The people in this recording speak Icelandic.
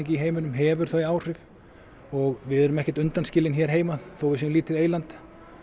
í heiminum hefur þau áhrif og við erum ekkert undanskilin hér heima þó að við séum lítið eyland